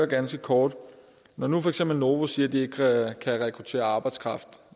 ganske kort når nu for eksempel novo siger at de ikke kan rekruttere arbejdskraft